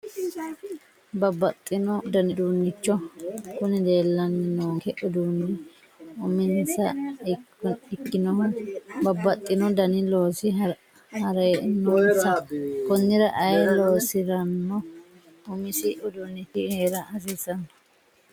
Babbaxxino dani uduunnicho kuni leellanni noonke uduunni uminsaha ikkinohu babbaxxino dani loosi heerannonsa konnira ayee loosirano umisi uduunnichi heera hasiissanno